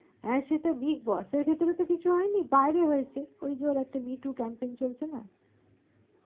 হা সে তো big boss ভিতরে তো কিছু হয় নি বাইরে হয়েছে ওই যে ওর একটা me to campus চলছে না